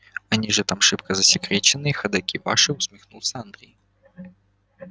они же там шибко засекреченные и ходоки ваши усмехнулся андрей